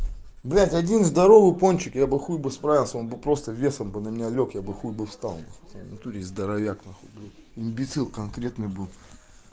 блядь один здоровый пончик я бы хуй бы справился он бы просто весом бы на меня лёг я бы хуй бы встал нахуй честно здоровяк нахуй блядь имбецил конкретный был